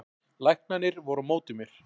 Læknarnir voru á móti mér